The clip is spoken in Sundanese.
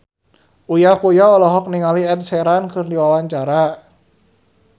Uya Kuya olohok ningali Ed Sheeran keur diwawancara